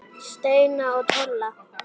Steina og Tolla?